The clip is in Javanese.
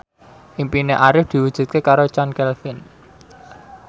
impine Arif diwujudke karo Chand Kelvin